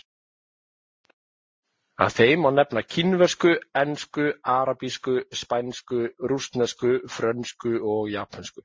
Af þeim má nefna kínversku, ensku, arabísku, spænsku, rússnesku, frönsku og japönsku.